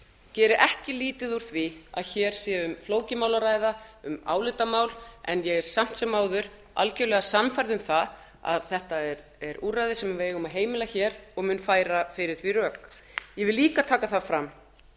geri ekki lítið úr því að hér sé um flókið mál að ræða um álitamál en ég er samt sem áður algerlega sannfærð um að þetta er úrræði sem við eigum að heimila hér og mun færa fyrir því rök ég vil líka taka það fram